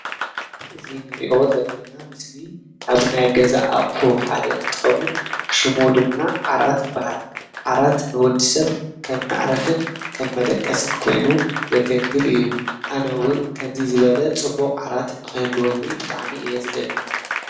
እዚ ንሪኦ ዘለና ምስሊ ካብ ናይ ገዛ ኣቑሑ ሓደ እንትኸውን ሽሙ ድማ ዓራት ይበሃል። ዓራት ንወዲሰብ ከም መዕረፍን ከም መደቀስን ኮይኑ ዘገልግል እዩ። ኣነ እዉን ከምዚ ዝበለ ፅቡቅ ዓራት ንኽህልወኒ ብጣዕሚ እየ ዝደሊ።